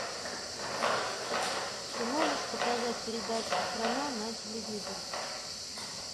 ты можешь показать передачу страна на телевизоре